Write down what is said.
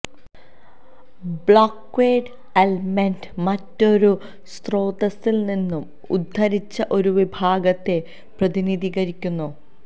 ബ്ലോക്ക്ക്വേഡ് element മറ്റൊരു സ്രോതസ്സിൽ നിന്ന് ഉദ്ധരിച്ച ഒരു വിഭാഗത്തെ പ്രതിനിധീകരിക്കുന്നു